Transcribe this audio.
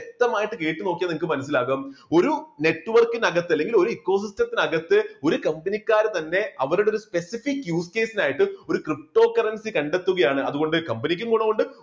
വ്യക്തമായിട്ട് കേട്ട് നോക്കിയാൽ നിങ്ങൾക്ക് മനസ്സിലാകും ഒരു network ന് അകത്ത് അല്ലെങ്കിൽ ഒരു eco system ത്തിനകത്ത് ഒരു company ക്കാര് തന്നെ അവരുടെ ഒരു specific use case നായിട്ട് ഒരു ptocurrency കണ്ടെത്തുകയാണ്, അതുകൊണ്ട് കമ്പനിക്കും ഗുണമുണ്ട്.